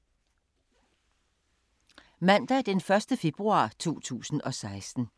Mandag d. 1. februar 2016